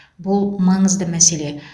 бұл маңызды мәселе